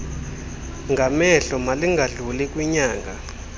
ngamehlo malingadluli kwinyanga